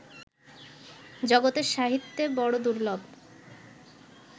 জগতের সাহিত্যে বড় দুর্লভ